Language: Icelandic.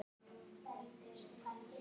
Hér má sjá nokkur þeirra.